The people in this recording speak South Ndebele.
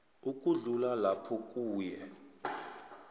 ukudlula lapho kuye